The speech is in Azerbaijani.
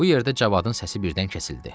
Bu yerdə Cavadın səsi birdən kəsildi.